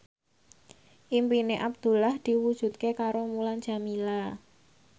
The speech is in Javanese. impine Abdullah diwujudke karo Mulan Jameela